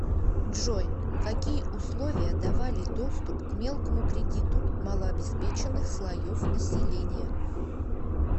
джой какие условия давали доступ к мелкому кредиту малообеспеченных слоев населения